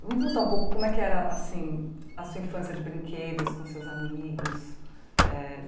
Vamos voltar um pouco, como é que era, assim, a sua infância de brinquedos com seus amigos? Eh